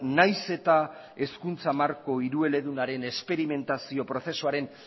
nahiz eta hezkuntza marko hirueledunaren esperimentazio prozesuaren